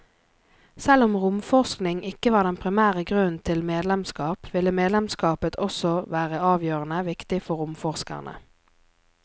Selv om romforskning ikke var den primære grunnen til medlemskap, ville medlemskapet også være avgjørende viktig for romforskerne.